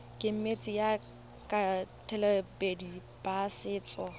kemedi ya baeteledipele ba setso